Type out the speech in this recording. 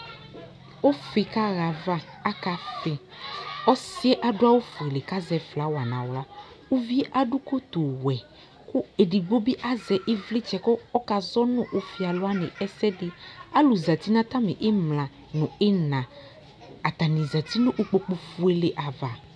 Ʋfɩ kaɣa ayava Akafɩ Ɔsɩ yɛ adʋ awʋfuele kʋ azɛ flawa nʋ aɣla Uvi yɛ adʋ kotuwɛ kʋ edigbo bɩ azɛ ɩvlɩtsɛ kʋ ɔkazɔ nʋ ʋfɩalʋ wanɩ ɛsɛ dɩ Alʋ zati nʋ atamɩ ɩmla nʋ ɩɣɩna Atanɩ zati nʋ ukpokufuele ava